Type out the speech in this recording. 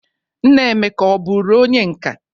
Nna Emeka o buru onye nka?